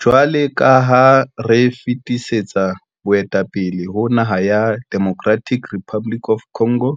Jwalo ka ha re fetisetsa boetapele ho naha ya Democratic Republic of Congo,